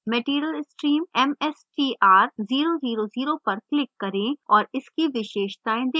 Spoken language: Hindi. material stream mstr000 पर click करें और इसकी विशेषताएं देखें